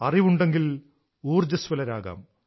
അറിവുണ്ടെങ്കിൽ ഊർജ്ജ്വസ്വലരാകാം